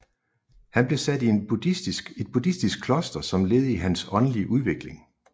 Han blev sat i et buddhistisk kloster som led i hans åndelige udvikling